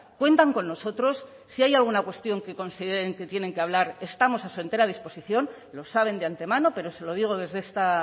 cuentan con nosotros si hay alguna cuestión que consideren que tienen que hablar estamos a su entera disposición lo saben de antemano pero se lo digo desde esta